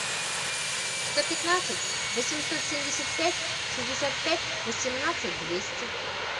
сто пятнадцать восемьсот семьдесят пять шестьдесят пять восемнадцать двести